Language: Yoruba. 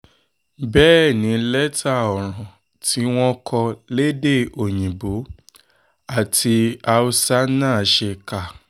bẹ́ẹ̀ ni lẹ́tà ọ̀ràn tí wọ́n kọ lédè òyìnbó àti haúsá náà ṣe kà